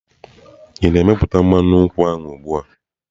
Ị na-meputá mmanụ nkwụ ahụ ugbu a?